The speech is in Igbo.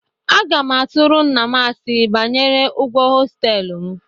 Aga m atụrụ nna m asị banyere ụgwọ hostelụ m.